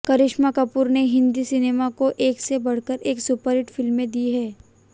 करिश्मा कपूर ने हिंदी सिनेमा को एक से बढ़कर एक सुपरहिट फिल्में दी हैं